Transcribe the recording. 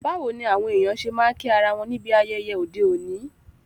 Báwoni àwon èyàn se ma n kí ara won níbi ayẹyẹ ọ́de òní?